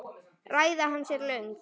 Ræða hans er löng.